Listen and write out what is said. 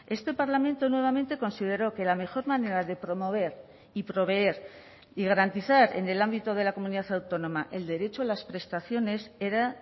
este parlamento nuevamente consideró que la mejor manera de promover y proveer y garantizar en el ámbito de la comunidad autónoma el derecho a las prestaciones era